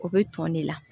O bɛ tɔn ne la